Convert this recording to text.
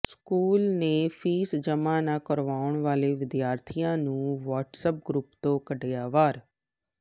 school ਨੇ fees ਜਮ੍ਹਾ ਨਾ ਕਰਵਾਉਣ ਵਾਲੇ ਵਿਦਿਆਰਥੀਆਂ ਨੂੰ ਵ੍ਹਾਟਸਐਪ ਗਰੁੱਪ ਤੋਂ ਕੱਢਿਆ ਬਾਹਰ